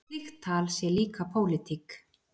Slíkt tal sé líka pólitík.